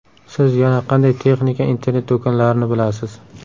Siz yana qanday texnika internet-do‘konlarini bilasiz?